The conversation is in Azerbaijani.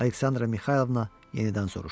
Aleksandra Mixaylovna yenidən soruşdu: